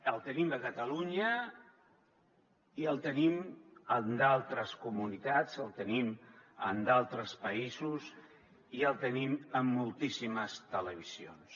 el tenim a catalunya i el tenim en d’altres comunitats el tenim en d’altres països i el tenim en moltíssimes televisions